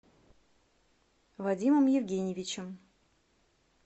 вадимом евгеньевичем